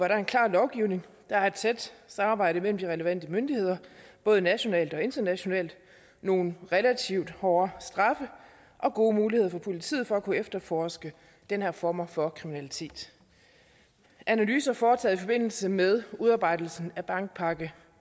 er en klar lovgivning der er et tæt samarbejde mellem de relevante myndigheder både nationalt og internationalt nogle relativt hårde straffe og gode muligheder for politiet for at kunne efterforske den her form for kriminalitet analyser foretaget i forbindelse med udarbejdelsen af bandepakke